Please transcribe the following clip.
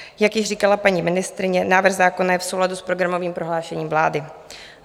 Jak již říkala paní ministryně, návrh zákona je v souladu s programovým prohlášením vlády.